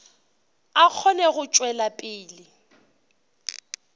a kgone go tšwela pele